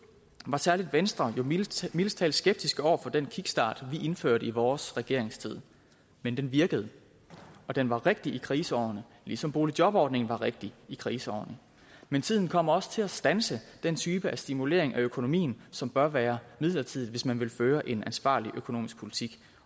at særlig venstre var mildest mildest talt skeptiske over for den kickstart vi indførte i vores regeringstid men den virkede og den var rigtig i kriseårene ligesom boligjobordningen var rigtig i kriseårene men tiden kommer også til at standse den type af stimulering af økonomien som bør være midlertidig hvis man vil føre en ansvarlig økonomisk politik